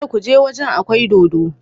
Kada ku je waje akwai dodo.